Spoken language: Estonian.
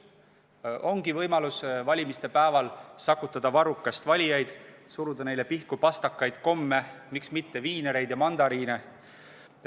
Tekibki võimalus sakutada valimispäeval valijaid varrukast, suruda neile pihku pastakaid ja komme, miks mitte ka viinereid ja mandariine.